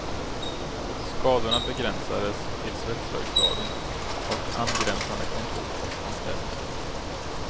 Skadorna begränsades till svetsverkstaden och angränsande kontor och omklädningsrum.